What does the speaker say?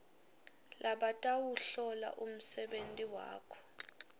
labatawuhlola umsebenti wakho